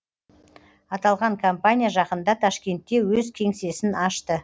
аталған компания жақында ташкентте өз кеңсесін ашты